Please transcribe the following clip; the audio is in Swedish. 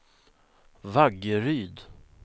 Vaggeryd